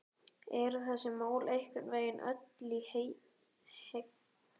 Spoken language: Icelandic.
Eru þessi mál einhvern veginn öll í henglum eða hvað?